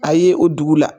A ye o dugu la